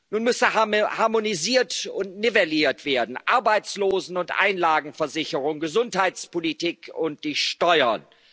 machen? Nun müsse harmonisiert und nivelliert werden Arbeitslosen und Einlagenversicherung, Gesundheitspolitik und die